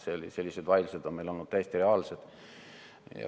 Sellised vaidlused on meil olnud täiesti reaalselt.